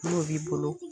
N'o b'i bolo